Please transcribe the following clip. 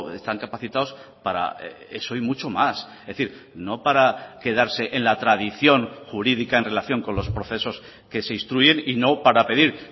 están capacitados para eso y mucho más es decir no para quedarse en la tradición jurídica en relación con los procesos que se instruyen y no para pedir